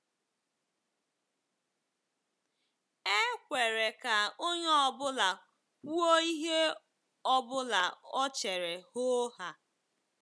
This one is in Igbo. E kwere ka onye ọ bụla kwuo ihe ọ bụla o chere hoo haa.